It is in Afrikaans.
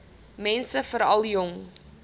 mense veral jong